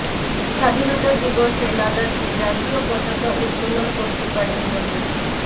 স্বাধীনতা দিবসে লাদাখে জাতীয় পতাকা উত্তোলন করতে পারেন ধোনি